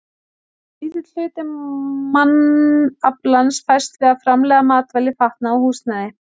Aðeins lítill hluti mannaflans fæst við að framleiða matvæli, fatnað og húsnæði.